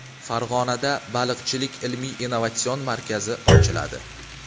Farg‘onada Baliqchilik ilmiy-innovatsion markazi ochiladi.